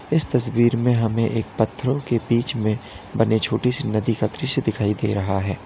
इस तस्वीर में हमें एक पत्थरों के बीच में बने छोटी सी नदी का दृश्य दिखाई दे रहा है।